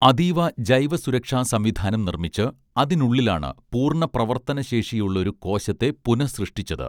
അതീവ ജൈവസുരക്ഷാ സംവിധാനം നിർമ്മിച്ച് അതിനുള്ളിലാണ് പൂർണ്ണ പ്രവർത്തനശേഷിയുള്ളൊരു കോശത്തെ പുനഃസൃഷ്ടിച്ചത്